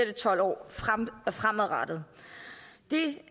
det tolv år fremadrettet det